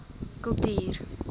kultuur